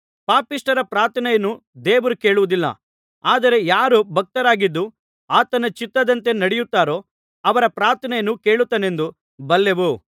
ಪಾಪಿಷ್ಠರ ಪ್ರಾರ್ಥನೆಯನ್ನು ದೇವರು ಕೇಳುವುದಿಲ್ಲ ಆದರೆ ಯಾರು ಭಕ್ತರಾಗಿದ್ದು ಆತನ ಚಿತ್ತದಂತೆ ನಡೆಯುತ್ತಾರೋ ಅವರ ಪ್ರಾರ್ಥನೆಯನ್ನು ಕೇಳುತ್ತಾನೆಂದು ಬಲ್ಲೆವು